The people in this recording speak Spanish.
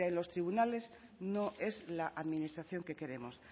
los tribunales no es la administración que queremos